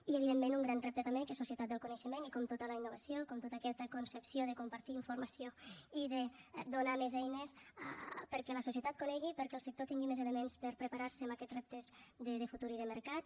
i evidentment un gran repte també que és societat del coneixement com tota la innovació com tota aquesta concepció de compartir informació i de donar més eines perquè la societat conegui i perquè el sector tingui més elements per preparar se amb aquests reptes de futur i de mercats